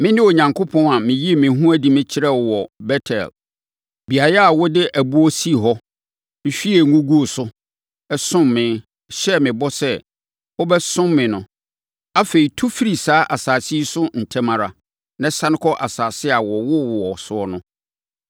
Mene Onyankopɔn a meyii me ho adi kyerɛɛ wo wɔ Bet-El, beaeɛ a wode ɛboɔ sii hɔ, hwiee ngo guu so, somm me, hyɛɛ me bɔ sɛ, wobɛsom me no. Afei, tu firi saa asase yi so ntɛm ara, na sane kɔ asase a wɔwoo wo wɔ so no so.’ ”